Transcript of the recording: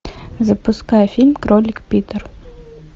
запускай фильм кролик питер